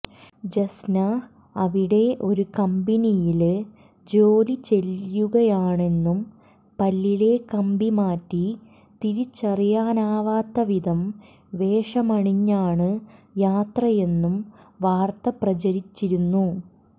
ജെസ്ന അവിടെ ഒരു കമ്പനിയില് ജോലി ചെയ്യുകയാണെന്നും പല്ലിലെ കമ്പി മാറ്റി തിരിച്ചറിയാനാവാത്ത വിധം വേഷമണിഞ്ഞാണ് യാത്രയെന്നും വാര്ത്ത പ്രചരിച്ചിരുന്നു